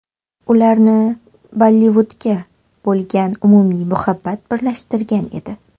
Ularni Bollivudga bo‘lgan umumiy muhabbat birlashtirgan edi.